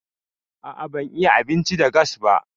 A'a ban iya abinci da gas ba.